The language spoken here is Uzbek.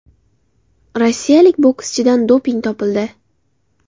Rossiyalik bokschidan doping topildi.